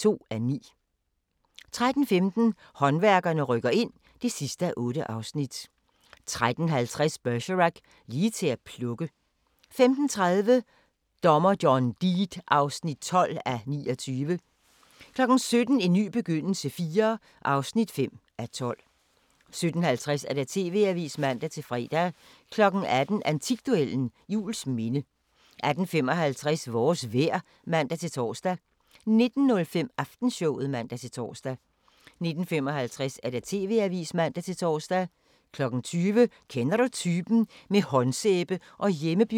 13:15: Håndværkerne rykker ind (8:8) 13:50: Bergerac: Lige til at plukke 15:30: Dommer John Deed (12:29) 17:00: En ny begyndelse IV (5:12) 17:50: TV-avisen (man-fre) 18:00: Antikduellen – Juelsminde 18:55: Vores vejr (man-tor) 19:05: Aftenshowet (man-tor) 19:55: TV-avisen (man-tor) 20:00: Kender du typen? – med håndsæbe og hjemmebiograf